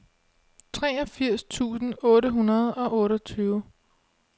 treogfirs tusind otte hundrede og otteogtyve